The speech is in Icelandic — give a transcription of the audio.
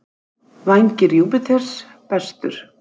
Vængir Júpíters: Bestur.